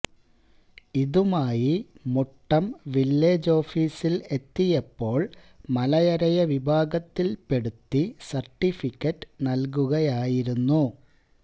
ഇതുമായി മുട്ടം വില്ലേജ് ഓഫീസില് എത്തിയപ്പോള് മലയരയ വിഭാഗത്തില്പ്പെടുത്തി സര്ട്ടിഫിക്കറ്റ് നല്കുകയായിരുന്നു